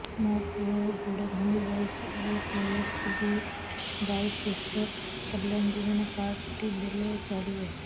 ମୋ ପୁଅର ଗୋଡ଼ ଭାଙ୍ଗି ଯାଇଛି ଏ କେ.ଏସ୍.ବି.ୱାଇ କୃଷକ କଲ୍ୟାଣ ଯୋଜନା କାର୍ଡ ଟି ଦେଲେ ଚଳିବ